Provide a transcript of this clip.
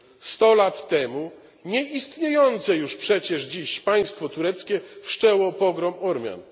Sto lat temu nieistniejące już przecież dziś państwo tureckie wszczęło pogrom Ormian.